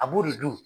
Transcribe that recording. A b'o de dun